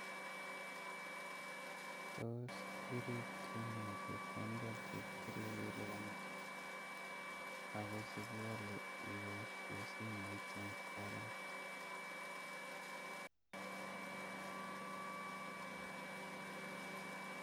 Tos iripti nee chepkondok chetile kelipani ako chekiwaleipaishe simoit ing koret